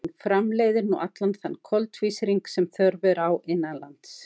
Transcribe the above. Hún framleiðir nú allan þann koltvísýring sem þörf er á innanlands.